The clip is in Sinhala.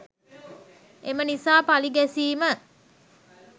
එම නිසා පලි ගැසීම